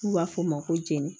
N'u b'a fɔ o ma ko jɛni